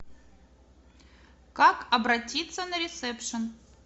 как обратиться на ресепшн